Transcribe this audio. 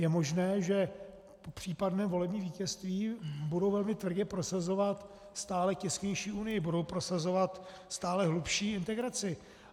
Je možné, že po případném volebním vítězství budou velmi tvrdě prosazovat stále těsnější Unii, budou prosazovat stále hlubší integraci.